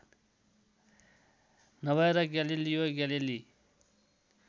नभएर Galileo Galilei